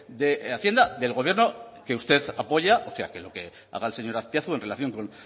de hacienda del gobierno que usted apoya o sea que lo que haga el señor azpiazu en relación con